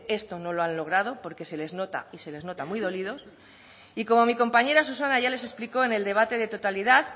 esto no lo han logrado porque se les nota y se les nota muy dolidos y como mi compañera susana ya les explicó en el debate de totalidad